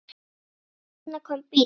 Og þarna kom bíll.